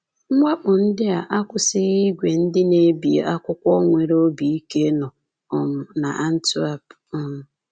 Mwakpo ndị a akwụsịghị ìgwè ndị na-ebi akwụkwọ nwere obi ike nọ um n’Antwerp. um